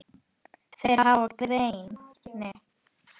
Þeir hafa greini